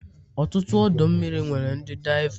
ọtụtụ ọdọ mmiri nwere ndi diava